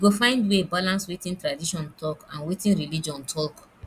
you go find way balance wetin tradition talk and wetin religion talk